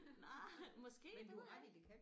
Nej måske det ved jeg ikke